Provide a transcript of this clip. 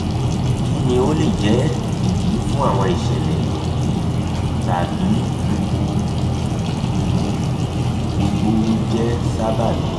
kini o le jẹ idi fun awọn iṣẹlẹ wọnyi tabi gbogbo jẹ sababi?